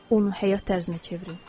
Onu həyat tərzinə çevirin.